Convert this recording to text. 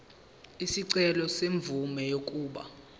isicelo semvume yokuba